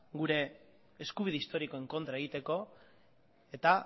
gure eskubide historikoen kontra egiteko eta